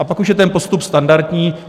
A pak už je ten postup standardní.